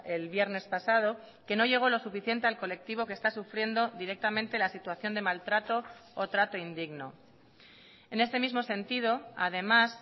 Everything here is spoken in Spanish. el viernes pasado que no llegó lo suficiente al colectivo que está sufriendo directamente la situación de maltrato o trato indigno en este mismo sentido además